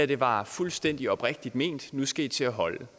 det var fuldstændig oprigtigt ment og nu skal i til at holde